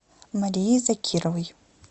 марии закировой